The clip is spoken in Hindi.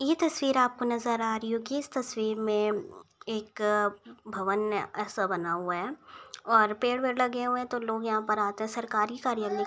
ये तस्वीर आपको नज़र आ रही होगी। इस तस्वीर में एक भवन सा बना हुआ है और पेड़ वेड़ लगे हुए है तो लोग यहाँ पर आते। सरकारी कार्यालय --